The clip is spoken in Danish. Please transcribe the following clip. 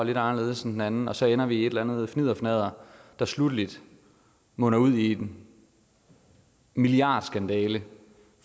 lidt anderledes end en anden og så ender vi i et eller andet fnidderfnadder der sluttelig munder ud i en milliardskandale